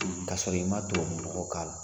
K'a sɔrɔ i ma tubukanyɔrɔ k'a la.